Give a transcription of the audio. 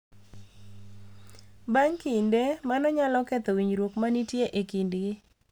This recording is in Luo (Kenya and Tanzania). Bang’ kinde, mano nyalo ketho winjruok ma nitie e kindgi